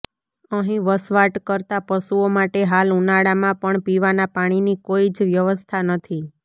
અહીં વસવાટ કરતા પશુઓ માટે હાલ ઉનાળામાં પણ પિવાના પાણીની કોઈ જ વ્યવસ્થા નથી